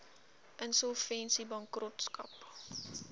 insolvensiebankrotskap